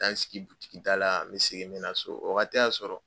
taa n sigi butiki da la n bɛ segin n bɛ na so o waati y'a sɔrɔ.